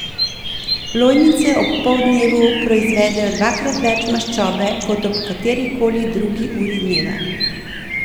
Lojnice ob poldnevu proizvedejo dvakrat več maščobe kot ob katerikoli drugi uri dneva.